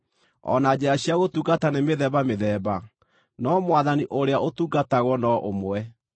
O na njĩra cia gũtungata nĩ mĩthemba mĩthemba, no Mwathani ũrĩa ũtungatagwo no ũmwe.